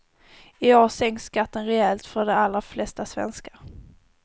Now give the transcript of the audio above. I år sänks skatten rejält för de allra flesta svenskar.